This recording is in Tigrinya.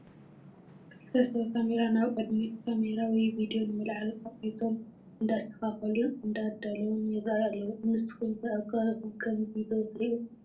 ክልተ ሰብ ካሜራ ናብ ቅድሚት ካሜራ ወይ ቪድዮ ንምልዓል ኣቑሑቶም እንዳስተኻኸሉን እንዳተደለውን ይራኣዩ ኣለው፡፡ ንስኹም ከ ኣብ ከባቢኹም ከምዚ ዶ ትሪኡ?